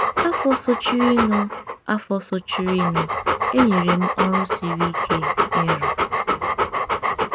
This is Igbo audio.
Afọ sochirinụ, Afọ sochirinụ, e nyere m ọrụ siri ike ịrụ.